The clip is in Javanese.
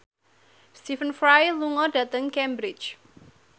Stephen Fry lunga dhateng Cambridge